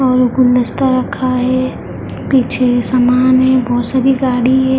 और गुलदस्ता रखा है पीछे सामान है बहोत सारी गाड़ी है।